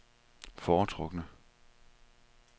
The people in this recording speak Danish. foretrukne